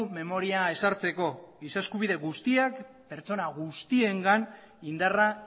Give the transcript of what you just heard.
memoria ezartzeko giza eskubide guztiak pertsona guztiengan indarra